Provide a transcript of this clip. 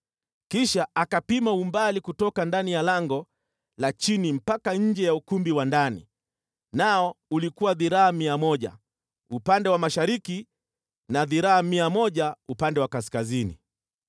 Kisha akapima umbali kutoka ndani ya lango la chini mpaka nje ya ukumbi wa ndani, nao ulikuwa dhiraa mia moja upande wa mashariki na dhiraa mia moja upande wa kaskazini.